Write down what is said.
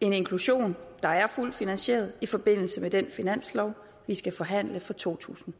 inklusion der er fuldt finansieret i forbindelse med den finanslov vi skal forhandle for totusinde